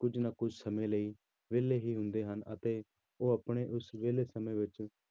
ਕੁੁੱਝ ਨਾ ਕੁੱਝ ਸਮੇਂ ਲਈ ਵਿਹਲੇ ਹੀ ਹੁੰਦੇ ਹਨ ਅਤੇ ਉਹ ਆਪਣੇ ਉਸ ਵਿਹਲੇ ਸਮੇਂ ਵਿੱਚ